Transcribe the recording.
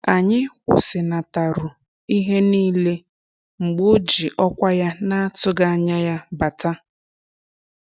Anyị kwụsịnataru ihe niile mgbe o ji ọkwa ya na-atụghị anya ya bata